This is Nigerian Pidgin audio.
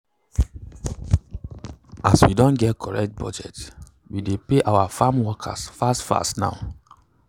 as we don get correct budget we dey pay our farmworkers fast fast now.